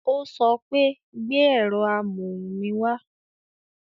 Ó sọ pé "gbé ẹ̀rọ amóhùn mi wá"